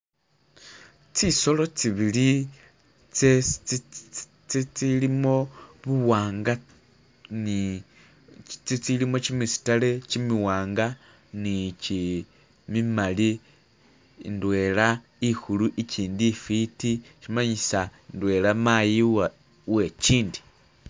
Zisolo zibili izilimo buwanga ni.. zizilimo jimisitale jimiwanga ni jimimali. Ndwena inkulu ijindi injeke, shimanyisa ndwena mayi uwejindi